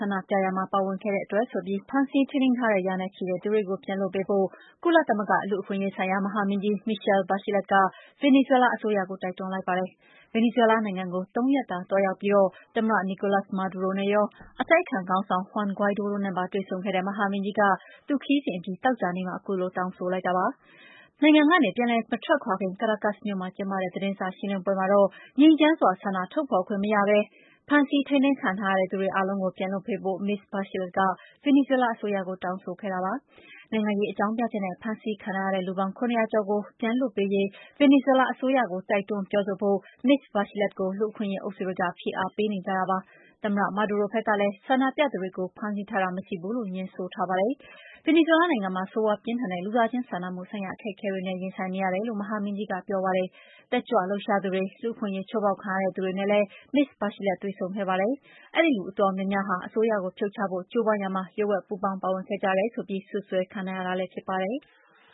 န္ဒပြရာမှာ ပါဝင်ခဲ့တဲ့အတွက်ဆိုပြီး ဖမ်းဆီးထိန်းသိမ်းထားတဲ့ ရာနဲ့ချီတဲ့သူတွေကို ပြန်လွှတ်ပေးဖို ကုလသမဂ္ဂ လူ့အခွင့်အရေးဆိုင်ရာ မဟာမင်းကြီး Michelle Bachelet က ဗင်နီဇွဲလားအစိုးရကို တိုက်တွန်းလိုက်ပါတယ်။ ဗင်နီဇွဲလားနိုင်ငံကို ၃ ရက်တာ သွားရောက်ပြီး သမ္မတ နီကိုလပ်စ် မာဒူရိုနဲ့ရော အတိုက်အခံခေါင်းဆောင် ဟွမ်ဂိုင်းဒိုးနဲ့ပါ တွေ့ဆုံခဲ့တဲ့ မဟာမင်းကြီးက သူ့ခရီးစဉ်အပြီး သောကြာနေ့မှာ ခုလိုတောင်းဆိုလိုက်တာပါ။ နိုင်ငံကနေ ပြန်လည်မထွက်ခါွခင် ကရာကပ်စ် မြို့မှာသတင်းစာရှင်းလင်းပွဲကျင်းပပြီး ငြိမ်းချမ်းစွာ ဆန္ဒထုတ်ဖော်ခွင့်ကြောင့် ဖမ်းဆီးထိန်းသိမ်းခံထားတဲ့သူတွေ အားလုံးကို ပြန်လွှတ်ပေးဖို့ မစ္စ Bachelet က ဗင်နီဇွဲလားအစိုးရကို တောင်းဆိုခဲ့တာပါ။ နိုင်ငံရေးအကြောင်းပြချက်နဲ့ ဖမ်းဆီးခံထားရတဲ့ လူပေါင်း ၇၀၀ ကျော်ကို ပြန်လွှတ်ပေးရေး ဗင်နီဇွဲလားအစိုးရကို တိုက်တွန်းပြောဆိုဖို့ မစ္စ Bachelet ကို လူ့အခွင့်အရေးအုပ်စုတွေက ဖိအားပေးနေကြတာလည်းဖြစ်ပါတယ်။ သမ္မတ မာဒူရို ဘက်ကလည်း ဆန္ဒပြသူတွေကို ဖမ်းဆီးထားတာ မရှိဘူးလို့ ငြင်းဆိုထားပါတယ်။ ဗင်နီဇွဲလားနိုင်ငံမှာ ဆိုးရွားပြင်းထန်တဲ့ လူသားချင်းစာနာမှုဆိုင်ရာ အခက်အခဲတွေနဲ့ ရင်ဆိုင်နေရတယ်လို့ မဟာမင်းကြီး Bachelet က ပြောပါတယ်။ တက်ကြွလှုပ်ရှားသူတွေ၊ လူ့အခွင့်အရေးချိုးဖောက်ခံခဲ့ရတဲ့သူတွေနဲ့လည်း မဟာမင်းကြီး Bachelet တွေ့ဆုံခဲ့ပါတယ်။ အဲဒီလူအတော်များများဟာ အစိုးရကို ဖြုတ်ချဖို့ ကြိုးပမ်းရာမှာ လျှို့ဝှက်ပူးပေါင်းပါဝင်ခဲ့ကြတယ်ဆိုပြီး စွပ်စွဲခံထားရတာ ဖြစ်ပါတယ်။